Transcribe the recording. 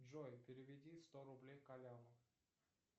джой переведи сто рублей коляну